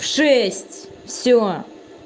в шесть всё